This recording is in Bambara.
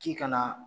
K'i kana